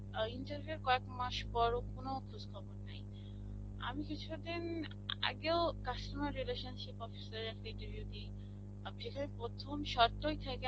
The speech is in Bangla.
ইয়া, interview এর কয়েকমাস পরও কোনো খোজ খবর নাই. আমি কিছুদিন আ~আগেও customer relationship officer এর একটা interview দিই. আমি সেখানে প্রথম শর্তই থাকে,